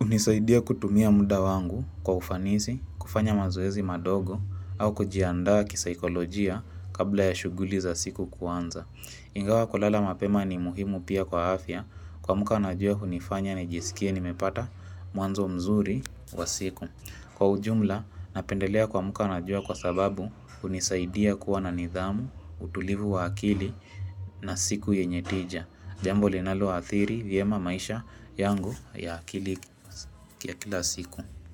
unisaidia kutumia muda wangu kwa ufanisi, kufanya mazoeezi madogo, au kujianda kisaikolojia kabla ya shuguli za siku kwanza. Ingawa kulala mapema ni muhimu pia kwa afya kuamka na jua hunifanya nijisikie nimepata mwanzo mzuri wa siku. Kwa ujumla napendelea kuamka na jua kwa sababu unisaidia kuwa na nidhamu, utulivu wa akili na siku yenye tija. Jambo linaloadhiri vyema maisha yangu ya akili ya kila siku.